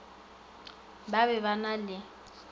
ba be ba na le